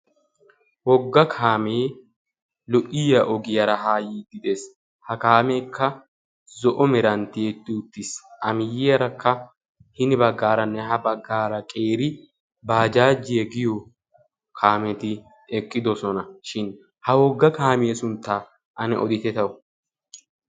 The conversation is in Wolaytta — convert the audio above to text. Wogga kaame lo''iyaa ogiyaa ha yiide dees. ha kaamekka zo'o meran tiyyeti uttiis. a miyyiyaarakka hini baggara ha baggara qeeri bajajjiyaa giyo kaameti eqqidoosona. shin ha kaamiyaa suntta oditte taw?